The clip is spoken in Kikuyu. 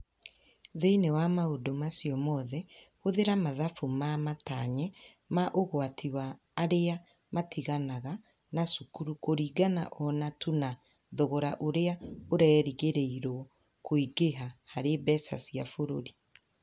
Thĩinĩ wa maũndũ macio mothe, hũthĩra mathabu ma matanye ma ũgwati wa arĩa matiganaga na cukuru kũringana o na tu na thogora ũrĩa ũrerĩgĩrĩrũo kũingĩha harĩ mbeca cia bũrũri.